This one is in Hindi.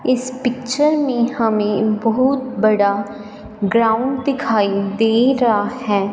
इस पिक्चर में हमे बहुत बड़ा ग्राउंड दिखाई दे रहा है।